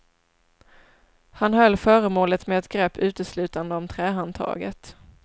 Han höll föremålet med ett grepp uteslutande om trähandtaget.